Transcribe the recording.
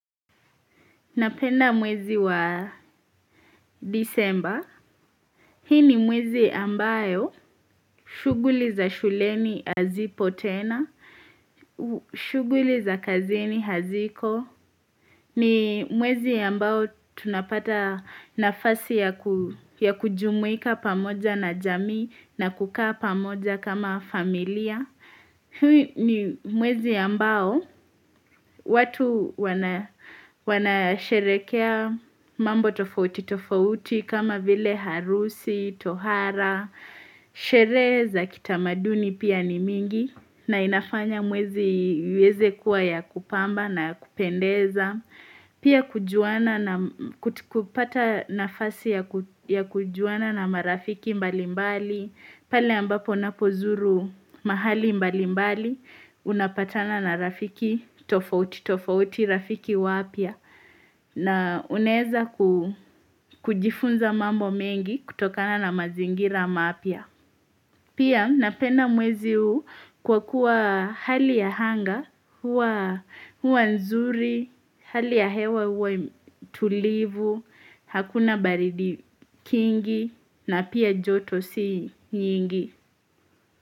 Napenda mwezi wa disemba. Hii ni mwezi ambayo shughuli za shuleni hazipo tena, shuguli za kazini haziko. Ni mwezi ambao tunapata nafasi ya kujumuika pamoja na jamii na kukaa pamoja kama familia. Huu ni mwezi ambao, watu wanasherekea mambo tofauti tofauti kama vile harusi, tohara, sherehe za kitamaduni pia ni mingi na inafanya mwezi uweze kuwa ya kupamba na ya kupendeza. Pia kupata nafasi ya kujuana na marafiki mbali mbali, pale ambapo napozuru mahali mbali mbali, unapatana na rafiki tofauti, tofauti, rafiki wapya, na unaeza ku kujifunza mambo mengi kutokana na mazingira mapya. Pia napenda mwezi huu kwa kuwa hali ya hanga, huwa nzuri, hali ya hewa huwa tulivu, hakuna baridi kingi na pia joto si nyingi.